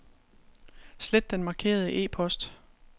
Slet den markerede e-post.